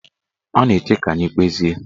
Ọ na-eche ka anyị kpezie